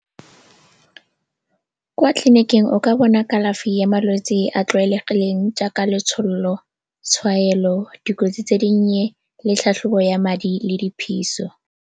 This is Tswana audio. Kwa tleliniking o ka bona kalafi ya malwetse a tlwaelegileng jaaka letshololo, tshwaelo, dikotsi tse dinnye le tlhatlhobo ya madi le diphiso.